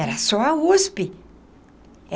Era só a USP.